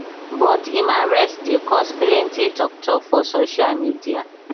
but im arrest dey cause plenty tok tok for social media